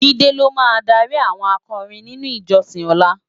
Jide ló má dári áwòn ákòrin ninú ijòsin òlá